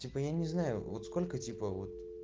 типа я не знаю вот сколько типа вот